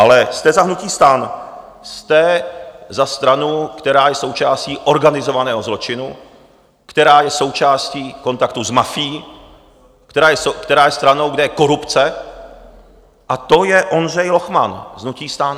Ale jste za hnutí STAN, jste za stranu, která je součástí organizovaného zločinu, která je součástí kontaktů s mafií, která je stranou, kde je korupce, a to je Ondřej Lochman z hnutí STAN.